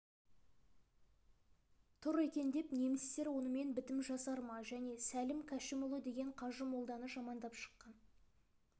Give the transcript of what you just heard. тұр екен деп немістер онымен бітім жасар ма және сәлім кәшімұлы деген қажы молданы жамандап шыққан